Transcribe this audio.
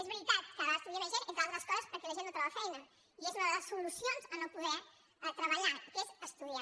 és veritat cada vegada estudia més gent entre altres coses perquè la gent no troba feina i és una de les solucions a no poder treballar que és estudiar